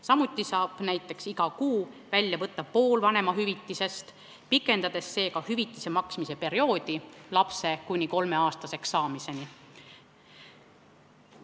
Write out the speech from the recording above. Samuti saab näiteks iga kuu välja võtta pool vanemahüvitisest, pikendades seega hüvitise maksmise perioodi kuni lapse kolmeaastaseks saamiseni.